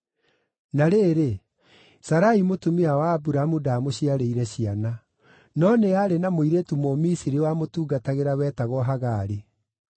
Na rĩrĩ, Sarai mũtumia wa Aburamu ndaamũciarĩire ciana. No nĩ aarĩ na mũirĩtu Mũmisiri wamũtungatagĩra wetagwo Hagari;